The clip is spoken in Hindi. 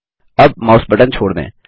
अब माउस बटन छोड़ दें